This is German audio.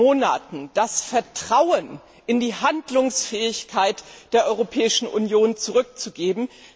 Monaten wirklich das Vertrauen in die Handlungsfähigkeit der Europäischen Union zurückzugeben.